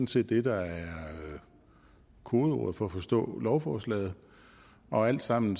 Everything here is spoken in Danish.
set det der er kodeordet for at forstå lovforslaget og alt sammen